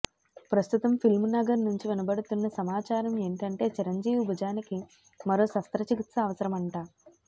ప్రస్తుతం ఫిల్మ్ నగర్ నుంచి వినపడుతున్న సమాచారం ఏంటంటే చిరంజీవి భుజానికి మరో శస్త్ర చికిత్స అవసరమంటా